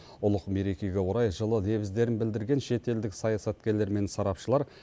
ұлық мерекеге орай жылы лебіздерін білдірген шетелдік саясаткерлер мен сарапшылар